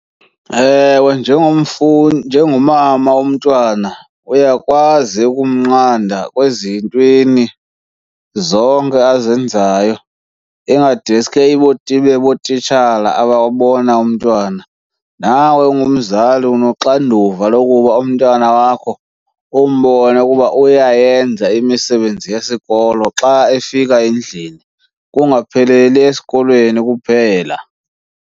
Ewe, njengomama womntwana uyakwazi ukumnqanda ezintweni zonke azenzayo, ingadeske ibe ngootitshala ababona umntwana. Nawe ungumzali unoxanduva lokuba umntana wakho umbone ukuba uyayenza imisebenzi yesikolo xa efika endlini, kungapheleli esikolweni kuphela.